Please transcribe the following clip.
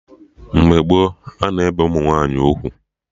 Mgbe gboo, a na-ebe ụmụ nwaanyị ugwu